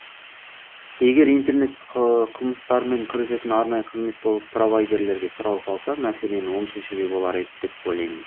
егер интернет қылмыстармен күресетін арнайы қызмет болып провайдерлерге сұрау салса мәселені оң шешуге болар еді деп ойлаймын